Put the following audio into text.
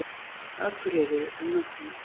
Akureyri um nóttina.